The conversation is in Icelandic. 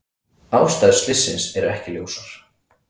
Ástæður slyssins eru ekki ljósar